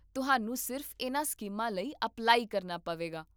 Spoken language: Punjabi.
ਤੁਹਾਨੂੰ ਸਿਰਫ਼ ਇਨ੍ਹਾਂ ਸਕੀਮਾਂ ਲਈ ਅਪਲਾਈ ਕਰਨਾ ਹੋਵੇਗਾ